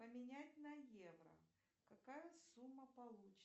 поменять на евро какая сумма получится